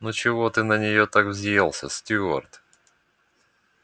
ну чего ты так на нее взъелся стюарт